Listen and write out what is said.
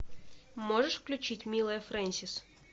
можешь включить милая фрэнсис